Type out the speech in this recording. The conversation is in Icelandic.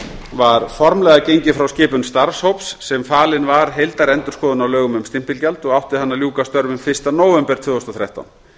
var formlega gengið frá skipun starfshóps sem falin var heildarendurskoðun á lögum um stimpilgjald og átti hann að ljúka störfum fyrsta nóvember tvö þúsund og þrettán